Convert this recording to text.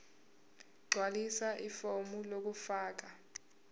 gqwalisa ifomu lokufaka